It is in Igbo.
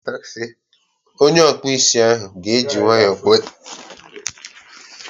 Onye ọkpụ isi ahụ ga eji nwayọọ kpụọ isi ahụ odika ihe nwere leya ejikọghi ọnụ.